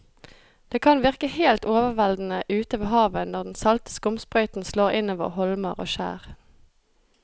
Det kan virke helt overveldende ute ved havet når den salte skumsprøyten slår innover holmer og skjær.